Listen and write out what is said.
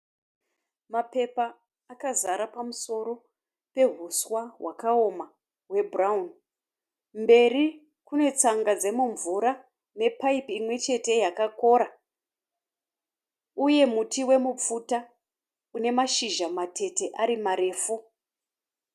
Mapepa akazara pamusoro pehuswa hwakaoma hwebhurawuni. Mberi kune tsanga dzemumvura nepaipi imwechete yakakora uye muti wemupfuta une mashizha matete ari marefu.